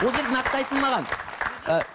ол жерде нақты айтылмаған ы